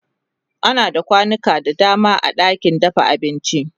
ana da kwanuka da dama a ɗakin dafa abinci